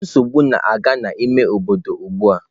Nsogbu na-aga n'ime obodo m ugbu a.